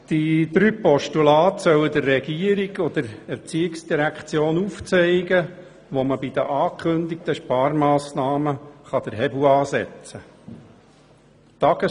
Diese drei Postulat sollen der Regierung und der ERZ aufzeigen, wo man bei den angekündigten Sparmassnahmen den Hebel ansetzen kann: